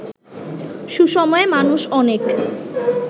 সুসময়ে মানুষ অনেক